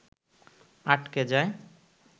আটকে যায়